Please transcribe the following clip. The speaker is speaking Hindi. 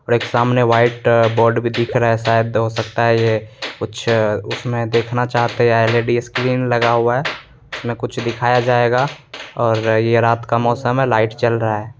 और सामने व्हाइट बोर्ड भी दिख रहा है शायद हो सकता है ये उसमें कुछ देखना चाह रहे हैं एल.ई.डी. स्क्रीन लगा हुआ है उसमें कुछ दिखाया जाएगा और ये रात का मौसम है लाइट जल रहा है।